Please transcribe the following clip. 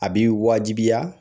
A b'i wajibiya